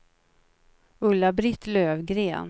Ulla-Britt Löfgren